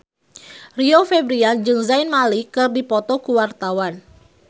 Rio Febrian jeung Zayn Malik keur dipoto ku wartawan